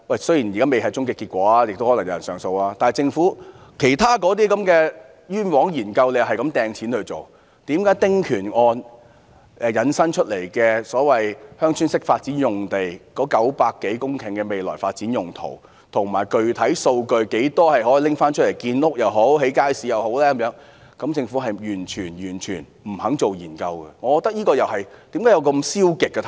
雖然現在未有終極結果，亦可能有人上訴，但政府不斷花錢在其他範疇進行"冤枉"的研究，為何對於由"丁權"案引申出來的900多公頃所謂鄉村式發展用地的未來發展用途，以及具體數據，有多少土地可撥出用作建屋或興建街市，政府完全不肯進行研究，為何政府會採取這種消極態度？